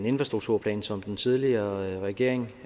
infrastrukturplanen som den tidligere regering